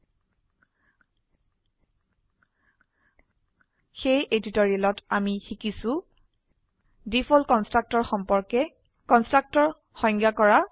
সেয়ে এই টিউটোৰিয়েলত আমি শিকিছো ডিফল্ট কনস্ট্ৰাক্টৰ সম্পৰ্কে কনস্ট্ৰাক্টৰ সংজ্ঞায়িত কৰা